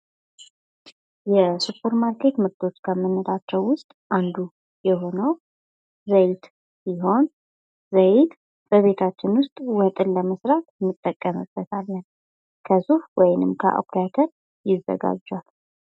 የሱፐር ማርኬት ምርቶች ከምንላቸው ውስጥ ዘይት ዘይት ወጥን ለመስራት እንጠቀምበታለን። ከሱፍ ወይም ከአኩሪ አተር ዪዘጋጃል።